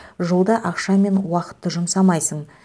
жолда ақша мен уақытты жұмсамайсың